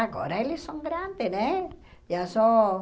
Agora eles são grandes, né? Já são